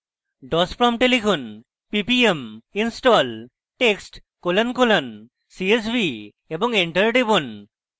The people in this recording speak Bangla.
dos prompt লিখুন: ppm install text colon colon csv এবং enter টিপুন